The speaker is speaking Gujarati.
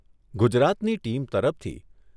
ગુજરાતની ટીમ તરફથી